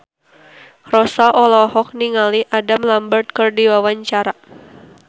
Rossa olohok ningali Adam Lambert keur diwawancara